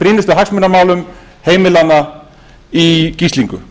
brýnustu hagsmunamálum heimilanna í gíslingu